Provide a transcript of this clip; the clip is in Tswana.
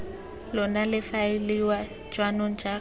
lona le faeliwa jaanong jaaka